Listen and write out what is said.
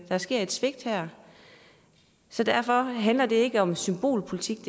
sker et svigt her så derfor handler det ikke om symbolpolitik